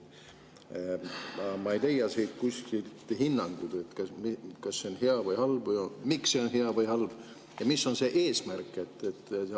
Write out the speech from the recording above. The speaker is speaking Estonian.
Ma ei leia siit kuskilt hinnangut, kas see on hea või halb, miks see on hea või halb ja mis on selle eesmärk.